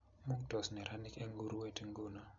Mungtos neranik eng urwet nguno